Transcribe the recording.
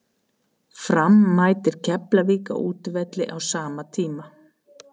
Fram mætir Keflavík á útivelli á sama tíma.